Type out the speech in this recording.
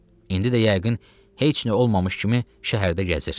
İndi də yəqin heç nə olmamış kimi şəhərdə gəzir.